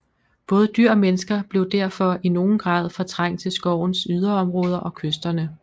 Både dyr og mennesker blev derfor i nogen grad fortrængt til skovens yderområder og kysterne